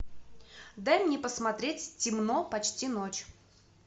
дай мне посмотреть темно почти ночь